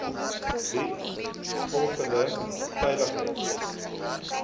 bied voldoende veiligheid